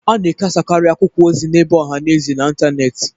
A na-ekesakarị akwụkwọ ozi n'ebe ọha na eze na n'ịntanetị.